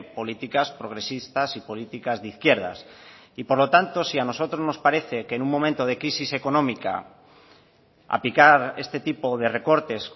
políticas progresistas y políticas de izquierdas y por lo tanto si a nosotros nos parece que en un momento de crisis económica aplicar este tipo de recortes